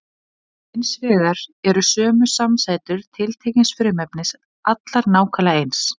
Hins vegar eru sömu samsætur tiltekins frumefnis allar nákvæmlega eins.